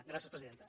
gràcies presidenta